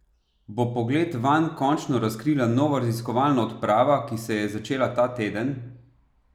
Bo pogled vanj končno razkrila nova raziskovalna odprava, ki se je začela ta teden?